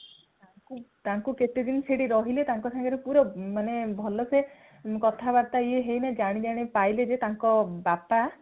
ତାଙ୍କୁ କେତେଦିନ ସେଠି ରହିଲେ ତାଙ୍କ ସାଙ୍ଗରେ ମାନେ ପୁରା ଭଲସେ କଥାବାର୍ତା ହେଇ ହେଇ ଜାଣିବାକୁ ପାଇଲେ ଯେ ତାଙ୍କ ବାପା